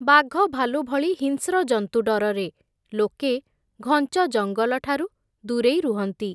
ବାଘଭାଲୁ ଭଳି, ହିଂସ୍ର ଜନ୍ତୁ ଡରରେ, ଲୋକେ ଘଞ୍ଚ ଜଙ୍ଗଲଠାରୁ ଦୂରେଇ ରୁହନ୍ତି ।